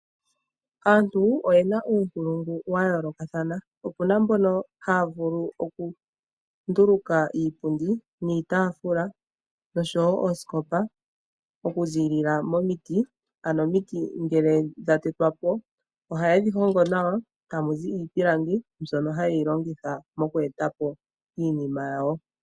Aantu oye na uunkulungu wa yoolokathana. Opu na mbono haya vulu okunduluka iipundi niitaafula noshowo oosikopa okuza momiti. Omiti ngele dha tetwa po ohaye dhi hongo nawa tamu zi iipilangi mbyono haya longitha okuza iinima yawo.